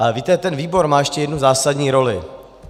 Ale víte, ten výbor má ještě jednu zásadní roli.